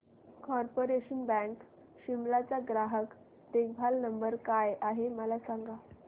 corporation bank Shimla चा ग्राहक देखभाल नंबर काय आहे मला सांग